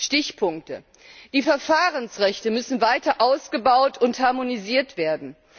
Stichpunkte Die Verfahrensrechte müssen weiter ausgebaut und harmonisiert werden.